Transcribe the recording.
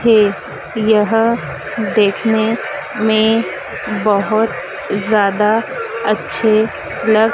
थे यह देखने में बहोत ज्यादा अच्छे लग--